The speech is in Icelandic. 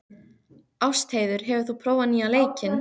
Ástheiður, hefur þú prófað nýja leikinn?